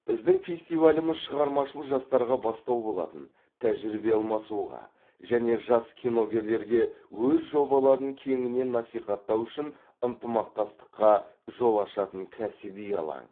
біздің фестиваліміз шығармашыл жастарға бастау болатын тәжірибе алмасуға және жас киногерлерге өз жобаларын кеңінен насихаттау үшін ынтымақстастыққа жол ашатын кәсіби алаң